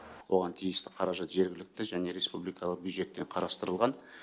оған тиісті қаражат жергілікті және республикалық бюджеттен қарастырылған